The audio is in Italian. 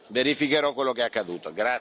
Verificherò quello che è accaduto.